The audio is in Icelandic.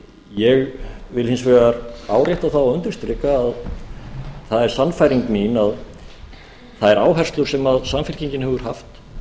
ég vil hins vegar árétta það og undirstrika að það er sannfæring mín að þær áherslur sem samfylkingin hefur haft